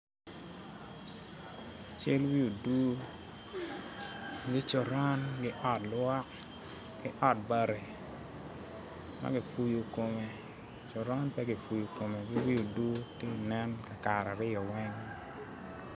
Ceng me odur me coron ki ot lwok ki ot bati ma gipuyo kome, coron pe gipuyo kome gi wi odur kakare aryo weng.